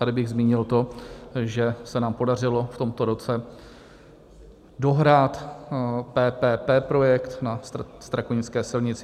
Tady bych zmínil to, že se nám podařilo v tomto roce dohrát PPP projekt na Strakonické silnici.